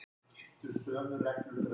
Og það eru þau enn.